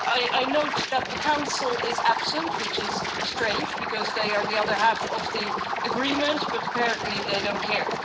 I note that the Council is absent, which is strange because they are the other half of the agreement, but apparently they don't care.